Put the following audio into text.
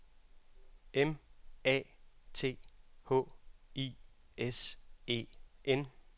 M A T H I S E N